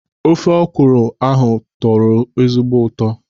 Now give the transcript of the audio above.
Ofe ọkwụrụ ahụ na-atọ ezigbo ụtọ.